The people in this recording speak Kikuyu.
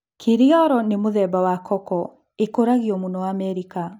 Kiriolo ni mũthemba wa koko ĩkũragio mũno Amerika.